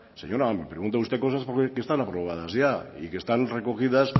señora me pregunta usted cosas que están aprobadas ya y que están recogidas